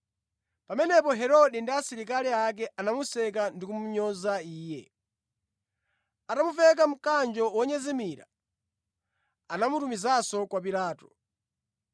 Pamenepo Herode ndi asilikali ake anamuseka ndi kumunyoza Iye. Atamuveka mkanjo wonyezimira, anamutumizanso kwa Pilato.